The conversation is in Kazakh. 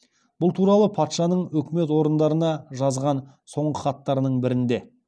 бұл туралы патшаның өкімет орындарына жазған соңғы хаттарының бірінде